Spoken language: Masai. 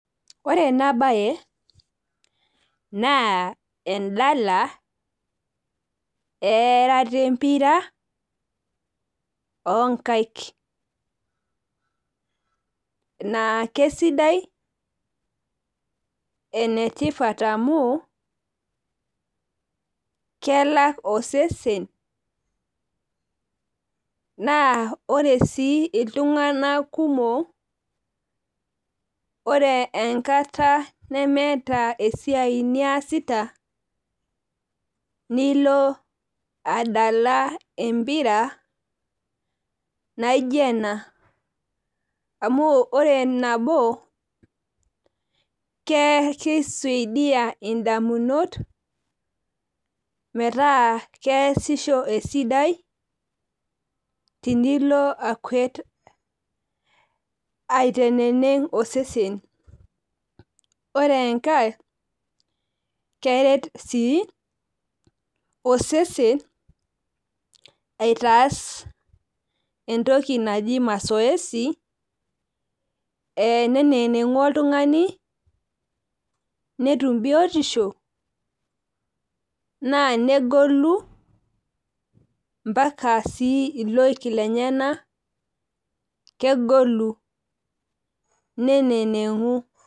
Ore enabae, naa edala erata empira onkaik, naa kesidai enetipat amu, kelak osesen, naa ore si iltung'anak kumok, ore enkata nemeeta esiai niasita, nilo adala empira naijo ena. Amu ore nabo, kisaidia indamunot, metaa keesisho esidai, tenilo akuet. Aiteneneng' osesen. Ore enkae, keret si osesen, aitaas entoki naji mazoezi, eneneneng'u oltung'ani, netum biotisho, naa negolu mpaka si iloik lenyanak, kegolu neneneng'u.